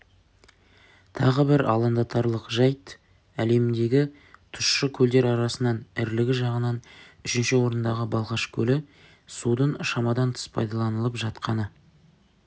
тағы бір алаңдатарлық жайт әлемдегі тұщы көлдер арасынан ірілігі жағынан үшінші орындағы балқаш көлі судың шамадан тыс пайдаланылып жатқаны